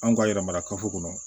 Anw ka yarɔ kafo kɔnɔ